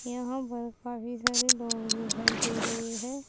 यहां पर काफी सारे लोग दिखाई दे रहे है।